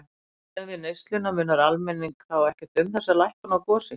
Miðað við neysluna munar almenning þá ekki um þessa lækkun á gosi?